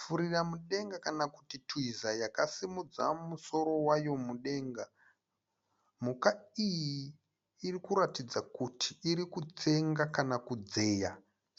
Furira mudenga kana kuti twiza yakasimudza musoro wayo mudenga, mhuka iyi iri kuratidza kuti iri kutsenga kana kudzeya